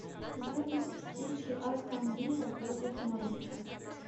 запись встречи астон вилла против норвича